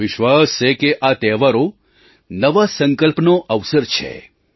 મને વિશ્વાસ છે કે આ તહેવારો નવા સંકલ્પનો અવસર છે